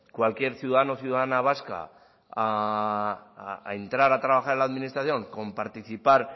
cualquier ciudadano o ciudadana vasca a entrar a trabajar en la administración con participar